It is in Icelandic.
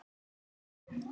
Sumir fengu hærri upphæð.